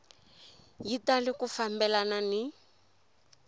yi tali ku fambelana ni